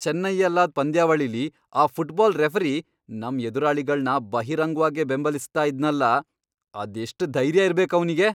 ಚೆನ್ನೈಯಲ್ಲಾದ್ ಪಂದ್ಯಾವಳಿಲಿ ಆ football referee ನಮ್ ಎದುರಾಳಿಗಳ್ನ ಬಹಿರಂಗ್ವಾಗೇ ಬೆಂಬಲಿಸ್ತಾ ಇದ್ನಲ್ಲ! ಅದೆಷ್ಟ್ ಧೈರ್ಯ ಇರ್ಬೇಕ್ ಅವ್ನಿಗೆ!